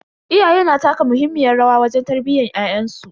Iyaye na taka muhimmiyar rawa wajen tarbiyyan ƴaƴansu.